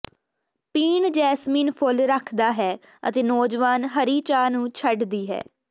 ਪੀਣ ਜੈਸਮੀਨ ਫੁੱਲ ਰੱਖਦਾ ਹੈ ਅਤੇ ਨੌਜਵਾਨ ਹਰੀ ਚਾਹ ਨੂੰ ਛੱਡਦੀ ਹੈ